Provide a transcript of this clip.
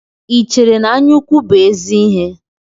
Ị chere na anya ukwu bụ ézì ihe?